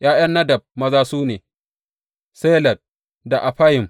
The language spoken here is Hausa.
’Ya’yan Nadab maza su ne, Seled da Affayim.